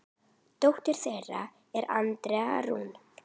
Dóttir þeirra er Andrea Rún.